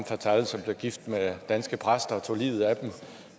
fatale som blev gift med danske præster og tog livet af dem